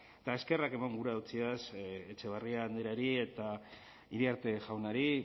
eta eskerrak emon gura dotsiaz etxebarrieta andreari eta iriarte jaunari